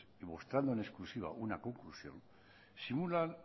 y mostrando en exclusiva una conclusión simulan